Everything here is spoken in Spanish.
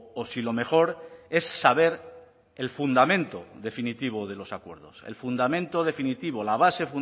o si lo mejor es saber el fundamento definitivo de los acuerdos el fundamento definitivo la base